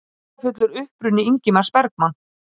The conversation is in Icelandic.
Dularfullur uppruni Ingmars Bergman